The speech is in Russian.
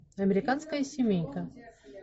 американская семейка